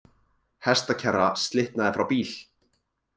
Hestakerra slitnaði frá bíl